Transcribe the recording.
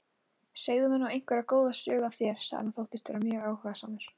Segðu mér nú einhverja góða sögu af þér sagði hann og þóttist vera mjög áhugasamur.